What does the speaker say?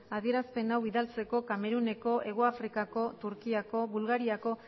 adierazpen hau bidaltzeko kameruneko hego afrikako turkiako bulgariako